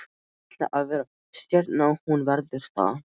Hún ætlar að verða stjarna og hún verður það.